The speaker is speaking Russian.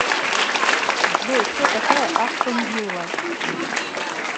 джой кто такая астон вилла